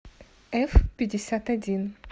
эфпятьдесятодин